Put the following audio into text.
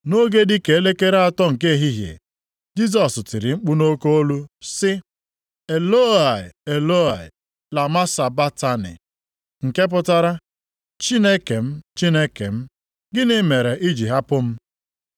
Nʼoge dị ka elekere atọ nke ehihie, Jisọs tiri mkpu nʼoke olu sị, \+wj “Elọi, Elọi, lama sabaktani?”\+wj* (nke pụtara, “Chineke m, Chineke m, gịnị mere i jiri hapụ m?”). + 27:46 \+xt Abụ 22:1\+xt*